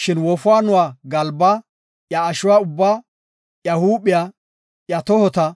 Shin wofaanuwa galbaa, iya ashuwa ubbaa, iya huuphiya, iya tohota,